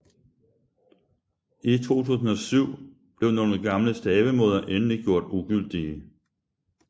I 2007 blev nogle gamle stavemåder endelig gjort ugyldige